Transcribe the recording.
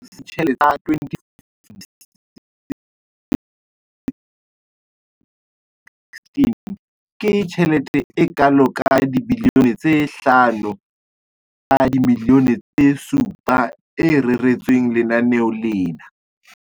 Selemong sa ditjhelete sa 2015-16, ke tjhelete e kalo ka R5 703 bilione e reretsweng lenaneo lena.